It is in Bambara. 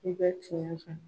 I bɛ tiɲɛ fɛ